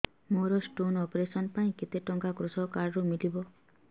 ମୋର stone operation ପାଇଁ କେତେ ଟଙ୍କା କୃଷକ କାର୍ଡ ରୁ ମିଳିବ